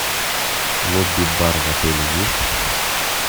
лобби бар в отеле есть